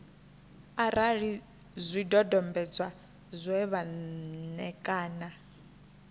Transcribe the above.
arali zwidodombedzwa zwe vha ṋekana